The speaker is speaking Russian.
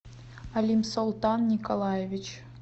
алимсултан николаевич